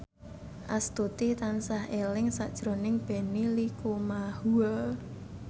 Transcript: Astuti tansah eling sakjroning Benny Likumahua